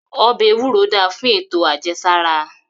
Obe ewuro dá fún eto ajẹsara